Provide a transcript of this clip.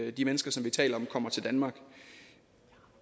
at de mennesker som vi taler om kommer til danmark